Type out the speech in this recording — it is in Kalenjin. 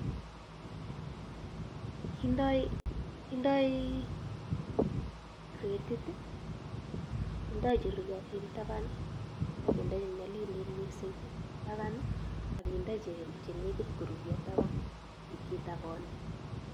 Kindoi kretit, kindoi che ruryotin taban ak kindoi che nyalilen mising taban akinde che nekit koruuryo taban, kitabani.